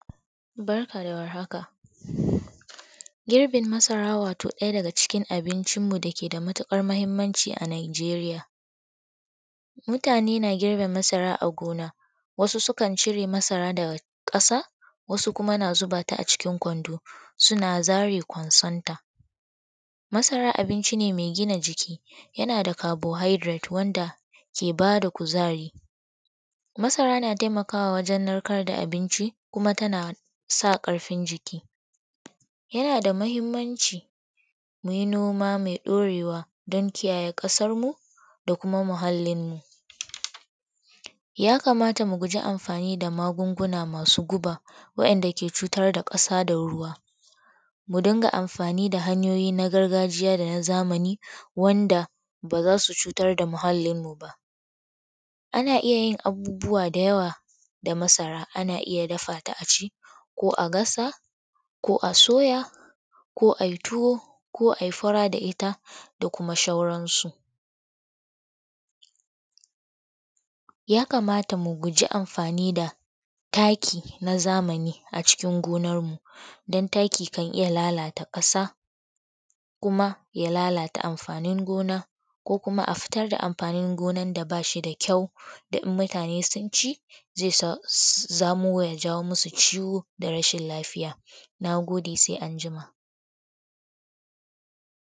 Barka da war haka, girbin masara wato ɗaya daga cikin abuncinmu da yake da matuƙar mahimmanci a Nijeriya. Mutane na girbin masara a gona, wasu sukan cire masara daga ƙasa wasu kuma. Na zuba ta a cikin kwando suna zare ta daga ƙwansonta. Masara abunci ne mai gina jiki yana da carbohydrate wanda yake ba da kuzari, masara na taimakawa wajen narkar da abin ci tana sa ƙarfin jiki. Yana da mahimmanci mu yi noma mai ɗaurewa don kiyaye ƙasar mu da kuma muhallinmu. Ya kamata mu guji amfani da magunguna masu guba waɗanda ke cutar da ƙasa sa ruwa. Mu dinga amfani da hanyoyi na gargajiya da na zamani wansa ba su cutar da muhallinmu ba, ana yin abun da yawa masara, ana iya dafa ta a ci ko a dafa ko a soya ko a yi tuwa ko a yi fara da ita da kuma sauransu. Ya kamat mu guji amfani da tafi na zamani a cikin gonarmu don taki kan oya lalata ƙasa kuma ya lalata amfanin gonar da ba shi da ƙyau saboda idan mutane sun ci zai sa zai jawo masu ciwo da rashin lafiya na gode.